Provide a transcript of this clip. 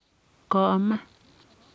kome."